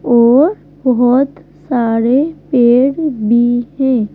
और बहुत सारे पेड़ भी है।